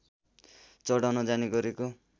चढाउन जाने गरेको